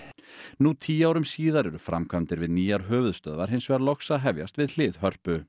nú tíu árum síðar eru framkvæmdir við nýjar höfuðstöðvar hins vegar loks að hefjast við hlið Hörpu